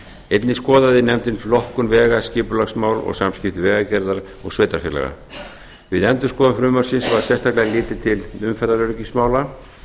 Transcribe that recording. einnig skoðaði nefndin flokkun vega skipulagsmál og samskipti vegagerðar og sveitarfélaga við endurskoðun frumvarpsins var sérstaklega litið til umferðaröryggismála